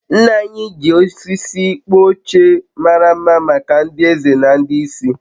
nna nna anyị ji osisi kpụọ oche mara mma maka ndị eze na ndị isi